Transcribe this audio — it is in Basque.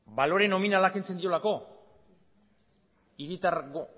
balore nominala kentzen diolako hiritargo